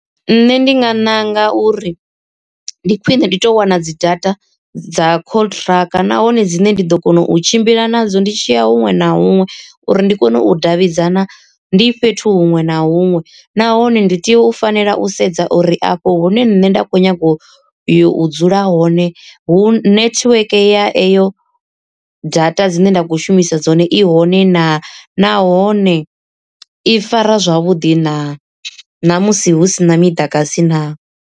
Nṋe ndi nga ṋanga uri ndi khwine ndi to wana dzi data dza contract nahone dzine ndi ḓo kona u tshimbila nadzo ndi tshiya huṅwe na huṅwe uri ndi kone u davhidzana ndi fhethu huṅwe na huṅwe. Nahone ndi tea u fanela u sedza uri afho hune nṋe nda kho nyaga u yo u dzula hone hu netiweke ya eyo data dzine nda kho shumisa dzone i hone naa, nahone i fara zwavhuḓi na namusi hu si na miḓagasi naa.